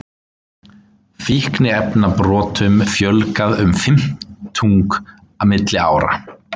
Fíkniefnabrotum fjölgaði um fimmtung milli ára